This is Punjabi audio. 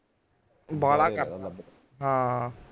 ਬਾਹਲਾ ਹਾਂ